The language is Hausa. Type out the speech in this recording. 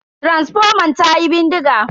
Taransifoman tayi bindiga.